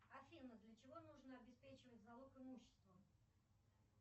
афина для чего нужно обеспечивать залог имущества